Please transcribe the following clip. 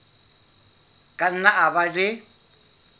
ka nna a ba le